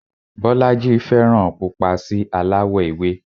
Bọ́lájí fẹ́ràn pupa sí aláwọ̀ ewé